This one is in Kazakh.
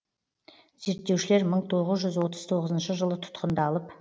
зерттеушілер мың тоғыз жүз отыз тоғызыншы жылы тұтқындалып